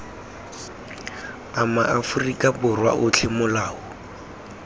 a maaforika borwa otlhe molao